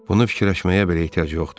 Bunu fikirləşməyə belə ehtiyac yoxdur.